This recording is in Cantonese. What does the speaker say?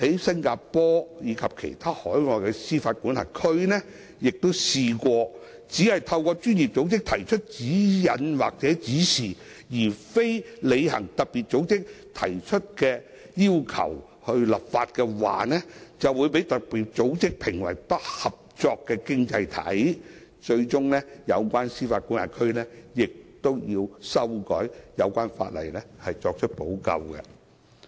新加坡及其他海外司法管轄區亦曾試圖只以專業組織發出的指引作為參考，而未有立法履行特別組織的要求，其後卻被特別組織評為"不合作經濟體"，最終要透過修改有關法例作出補救。